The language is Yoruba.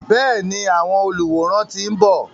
Bẹ́ẹ̀ni, àwọn olùwòran ti ń bọ̀.